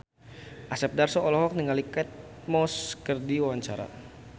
Asep Darso olohok ningali Kate Moss keur diwawancara